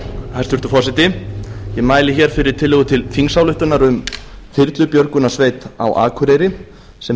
hæstvirtur forseti ég mæli hér fyrir tillögu til þingsályktunar þyrlubjörgunarsveit á akureyri sem